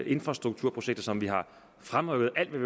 infrastrukturprojekter som vi har fremrykket alt hvad